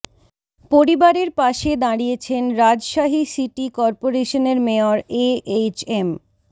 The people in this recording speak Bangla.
পরিবারের পাশে দাঁড়িয়েছেন রাজশাহী সিটি করপোরেশনের মেয়র এ এইচ এম